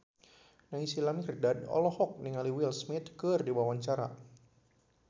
Naysila Mirdad olohok ningali Will Smith keur diwawancara